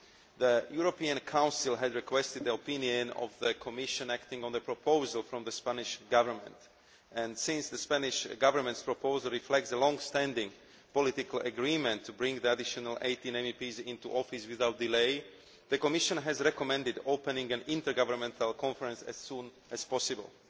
The European Council had requested the opinion of the Commission acting on the proposal from the Spanish Government and, since the Spanish Government's proposal reflects the long standing political agreement to bring the additional 18 MEPs into office without delay, the Commission has recommended opening an intergovernmental conference as soon as possible.